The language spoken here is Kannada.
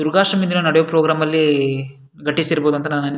ದುರ್ಗಾಷ್ಟಮಿ ದಿನ ನಡಿಯೋ ಪ್ರೋಗ್ರಾಮ್ ಅಲ್ಲಿ ಗಟಿಸಿರಬಹುದು ಅಂತ ನಾನು --